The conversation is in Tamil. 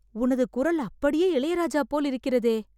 உனது குரல் அப்படியே இளையராஜா போல் இருக்கிறதே